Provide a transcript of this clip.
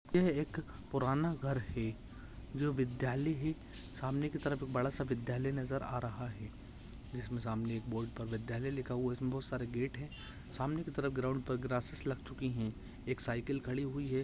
यह एक पुराना घर है जो विद्यालय है सामने के तरफ बडा सा विद्यालय नजर आ रहा है जिसमे सामने बोर्ड पर विद्यालय लिखा हुआ है इसमे बहोत सारे गेट है सामने के तरफ ग्राउंड पर ग्रासेस लग चुकी है एक साइकिल खडी हुई है।